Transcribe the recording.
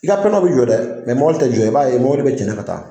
I ka bɛ jɔ dɛ mobili tɛ jɔ i b'a ye mobili bɛ cɛnɛ ka taa